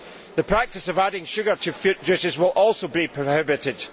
The practice of adding sugar to fruit juices will also be prohibited.